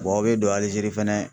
aw bɛ don Alizeri fɛnɛ